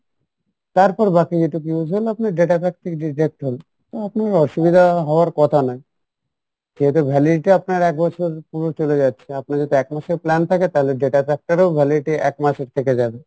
তারপর বাকি net টুকু use হলো আপনার data pack থেকে deduct হলো তো আপনার অসুবিধা হওয়ার কথা না যেহেতু validity আপনার এক বছরের পুরো চলে যাচ্ছে আপনার যদি এক মাসের plan থাকে তাহলে data pack টারও validity এক মাসের থেকে যাবে